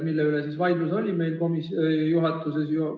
Mille üle vaidlus oli meil juhatuses?